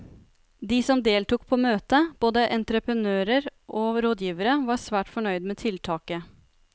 De som deltok på møtet, både entreprenører og rådgivere, var svært fornøyd med tiltaket.